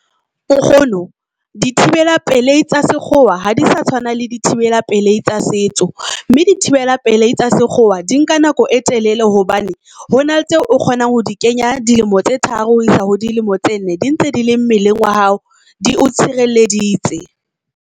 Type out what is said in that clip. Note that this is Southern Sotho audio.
Nkgono dithibela peleitsa sekgowa ha di sa tshwana le dithibela pelei tsa setso, mme di thibela pele tsa sekgowa di nka nako e telele hobane hona le tseo o kgonang ho di kenya dilemo tse tharo ho isa ho dilemo tse nne. Di ntse di le mmeleng wa hao, di o tshireleditse.